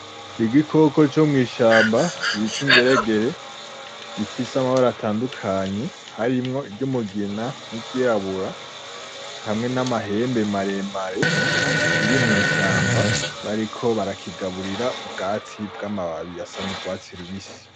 Igikoko comwishamba bita ingeregere gifise amabara atandukanye harimwo iryumugina, niryirabura hamwe namahembe maremare, kiri mwishamba bariko barakigaburira ubwatsi bwamababi asa nurwatsi rubisi .